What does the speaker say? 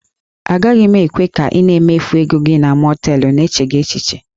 Agaghị m ekwe ka ị na-emefu ego gị na mọọtelụ n'echeghị echiche